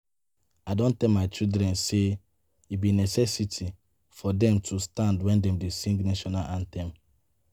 I don tell my children say e be necessity for dem to stand wen dey dey sing national anthem